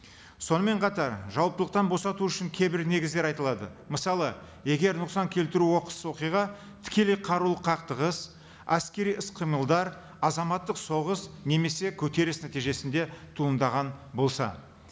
сонымен қатар жауаптылықтан босату үшін кейбір негіздер айтылады мысалы егер нұқсан келтіру оқыс оқиға тікелей қарулық қақтығыс әскери іс қимылдар азаматтық соғыс немесе көтеріс нәтижесінде туындаған болса